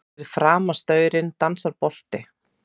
Fyrir framan staurinn dansar bolti.